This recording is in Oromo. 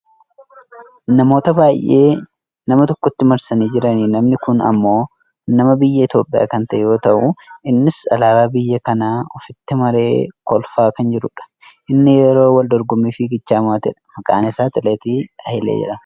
namoota baayyee nama tokkotti marsanii jiraniifi namni kun ammoo nama biyya Itoopiyaa kan ta'e yoo ta'u innis alaabaa biyya kanaa ofitti maree kolfaa kan jirudha. innis yeroo wal dorgommii fiigichaa mo'atedha. maqaan isaa atileet Hailee jedhama.